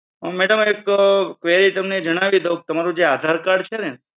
madam એક query તમને જણાવી દઉ તમારૂ જે આધાર કાર્ડ છે ને